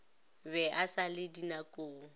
be e sa le dinakong